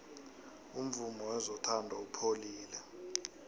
umvumo wezothando upholile